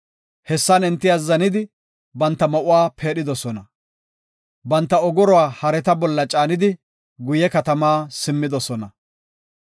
Hessan enti azzanidi, banta ma7uwa peedhidosona. Banta ogoruwa hareta bolla caanidi, guye katama simmidosona.